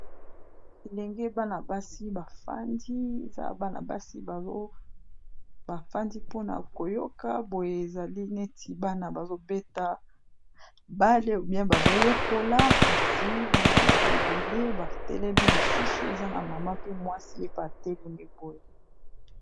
Elenge bana basi bafandi eza, bana basi bafandi pona koyoka boye ezali neti bana bazobeta ball où bien bazoyekola kasi bana baza ebele batelemi mosusu eza na mama pe mwasi yepe atelemi boye.